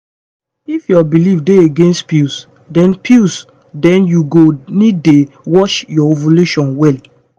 if your belief dey against pills then pills then you go need dey watch your ovulation wella